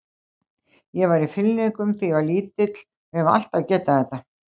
Ég var í fimleikum þegar ég var lítill og hef alltaf getað þetta.